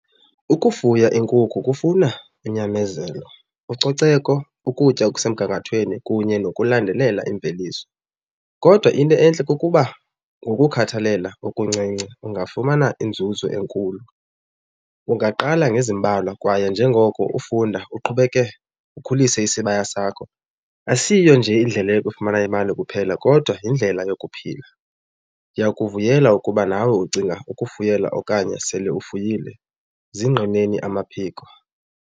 Ukufuya iinkukhu kufuna unyamezelo, ucoceko, ukutya okusemgangathweni kunye nokulandelela iimveliso. Kodwa into entle kukuba ngokukhathalela okuncinci ungafumana inzuzo enkulu. Ungaqala ngoba ngezimbalwa kwaye njengoko ufunda uqhubeke ukhulise isibaya sakho. Asiyo nje indlela yokufumana imali kuphela kodwa yindlela yokuphila. Ndiyakuvuyela ukuba nawe ucinga ukufuyela okanye sele ufuyile, zingqineni amaphiko.